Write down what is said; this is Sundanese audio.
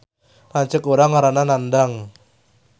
Lanceuk urang ngaranna Nandang